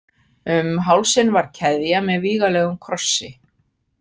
Um hálsinn var keðja með vígalegum krossi.